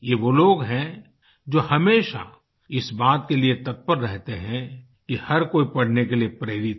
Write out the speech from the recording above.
ये वो लोग हैं जो हमेशा इस बात के लिए तत्पर रहते हैं कि हर कोई पढ़ने के लिए प्रेरित हो